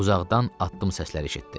Uzaqdan addım səsləri eşitdi.